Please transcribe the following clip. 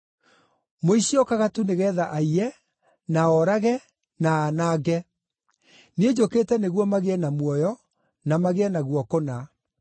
Mũici okaga tu nĩgeetha aiye, na orage, na anange; niĩ njũkĩte nĩguo magĩe na muoyo, na magĩe naguo kũna.